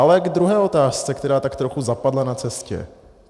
Ale k druhé otázce, která tak trochu zapadla na cestě.